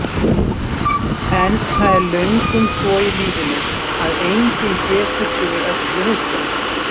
En það er löngum svo í lífinu að enginn getur fyrir öllu hugsað.